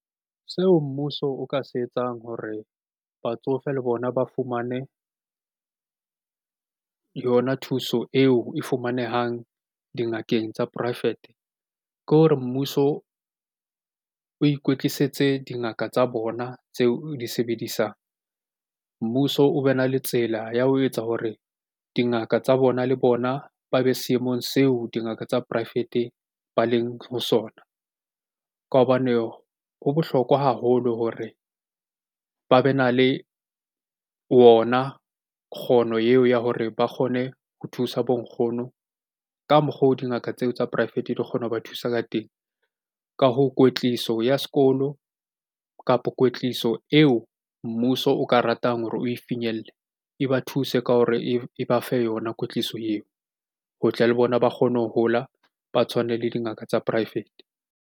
Seo mmuso o ka se etsang hore batsofe le bona ba fumane yona thuso eo e fumanehang dingakeng tsa poraefete. Ke hore mmuso o ikwetlisetse dingaka tsa bona tseo o di sebedisang. Mmuso o be na le tsela ya ho etsa hore dingaka tsa bona le bona ba be seemong seo dingaka tsa poraefete ba leng ho sona. Ka hobane ho bohlokwa haholo hore ba be na le ona kgono eo ya hore ba kgone ho thusa bo nkgono ka mokgwa o dingaka tseo tsa poraefete di kgona ho ba thusa ka teng. Ka hoo, kwetliso ya sekolo kapo kwetliso eo mmuso o ka ratang hore oe finyelle e ba thuse ka hore e ba fe yona kwetliso eo. Ho tle le bona ba kgone ho hola, ba tshwane le dingaka tsa poraefete.